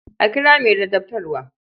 A kira mai ladabtarwa.